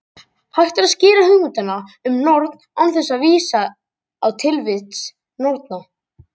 Hægt er að skýra hugmyndina um norn án þess að vísa á tilvist norna.